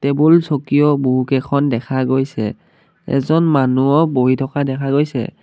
বুল চকীও বহুকেইখন দেখা গৈছে এজন মানুহো বহি থকা দেখা গৈছে।